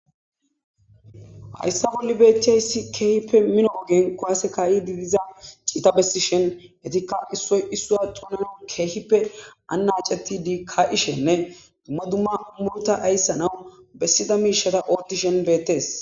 Hayssa bolli betchiayssi keehippe mino ogen kowase ka'ididiza ciita bessi shen etikka issoy issua tunan keehippe annaceti di ka ishenne dumma dumma muruta ayssanaw bessida miishata ortishen beettes.